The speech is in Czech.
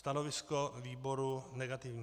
Stanovisko výboru negativní.